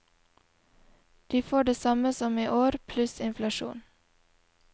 De får det samme som i år, pluss inflasjon.